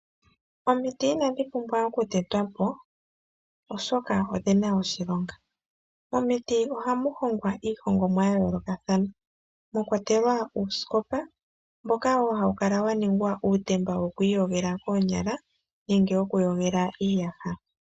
Omiti inadhi pumbwa okutetwapo oshoka odhina oshilonga momiti ohamu hongwa iihongomwa yayoolokathana mwakwatelwa uuskopa mboka hawu kala waningwa uutemba wokwiiyogela koonyala nenge wokuyogela iiyaha.